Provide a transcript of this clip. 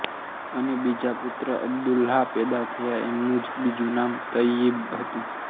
અને બીજા પુત્ર અબ્દુલ્લાહ પેદા થયા એમનું જ બીજું નામ તય્યિબ હતું